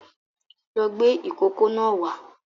Lọ gbé ìkókó náà wá